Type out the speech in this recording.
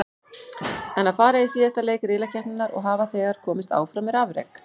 En að fara í síðasta leik riðlakeppninnar og hafa þegar komist áfram er afrek.